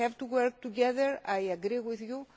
on these issues we have to work together